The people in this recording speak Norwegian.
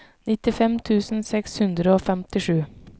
nittifem tusen seks hundre og femtisju